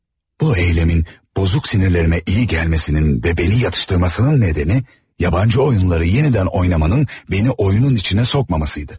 Bu eyləmin bozuk sinirlərimə iyi gəlməsinin və məni yatıştırmasının nədəni, yabancı oyunları yenidən oynamanın məni oyunun içinə sokmamasıydı.